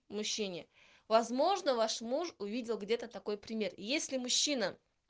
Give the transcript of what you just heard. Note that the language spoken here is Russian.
мужчине возможно ваш муж увидел где-то такой пример если мужчина